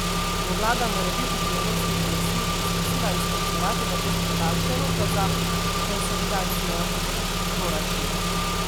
Bo vlada morebiti pri evropski komisiji poskusila izposlovati nekoliko daljše roke za konsolidacijo proračuna?